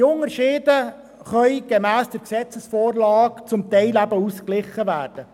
Die Unterschiede können gemäss der Gesetzesvorlage teilweise ausgeglichen werden.